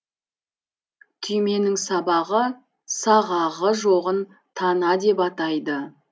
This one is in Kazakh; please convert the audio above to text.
түйменің сабағы сағағы жоғын тана деп атайды